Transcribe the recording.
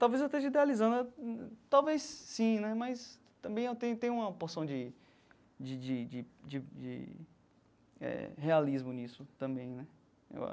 Talvez eu esteja idealizando, talvez sim né, mas também eu te tenho uma porção de de de de de de eh de realismo nisso também né, eu